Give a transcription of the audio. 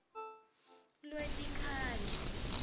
lwetikhalo